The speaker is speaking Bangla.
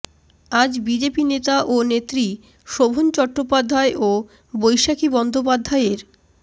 আজ বিজেপি নেতা ও নেত্রী শোভন চট্টোপাধ্যায় ও বৈশাখী বন্দ্যোপাধ্যায়ের